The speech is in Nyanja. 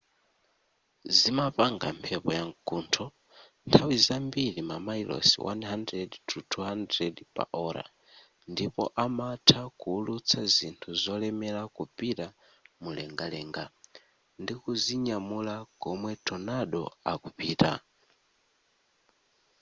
zimapanga mphepo ya mkuntho nthawi zambiri mamayilosi 100-200 / ola ndipo amatha kuwulutsa zinthu zolemera kupita mumlengalenga ndikuzinyamula komwe tornado akupita